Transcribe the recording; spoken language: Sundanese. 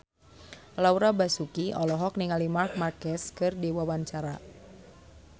Laura Basuki olohok ningali Marc Marquez keur diwawancara